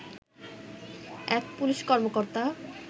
এক পুলিশ কর্মকর্তা